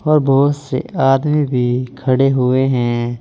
और बहुत से आदमी भी खड़े हुए हैं।